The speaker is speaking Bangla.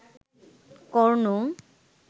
কর্ণ